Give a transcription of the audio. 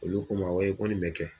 Olu k n ma o ye ko nin bɛ kɛ.